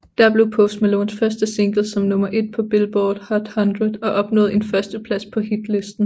Der blev Post Malones første single som nummer ét på Billboard Hot 100 og opnåede en førsteplads på Hitlisten